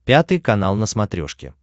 пятый канал на смотрешке